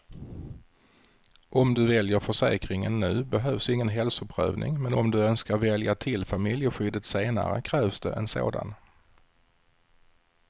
Om du väljer försäkringen nu behövs ingen hälsoprövning, men om du önskar välja till familjeskyddet senare krävs det en sådan.